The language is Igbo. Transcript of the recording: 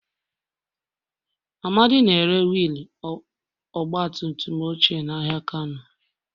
Amadi na-ere wiil ọgba tum tum ochie n'ahịa kano.